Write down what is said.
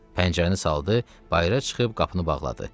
Pəncərəni saldı, bayıra çıxıb qapını bağladı.